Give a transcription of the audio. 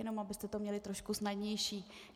Jenom abyste to měli trošku snadnější.